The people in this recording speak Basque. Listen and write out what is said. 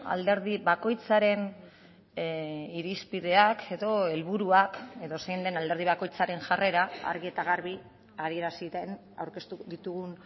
alderdi bakoitzaren irizpideak edo helburuak edozein den alderdi bakoitzaren jarrera argi eta garbi adierazi den aurkeztu ditugun